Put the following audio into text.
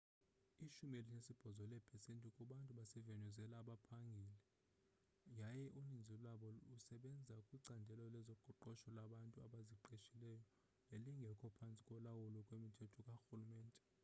ishumi elinesibhozo leepesenti kubantu basevenuezela abaphangeli yaye uninzi lwabo lusebenza kwicandelo lezoqoqosho labantu abaziqeshileyo nelingekho phantsi kolawulo lwemithetho karhulumente